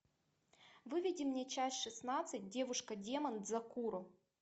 выведи мне часть шестнадцать девушка демон дзакуро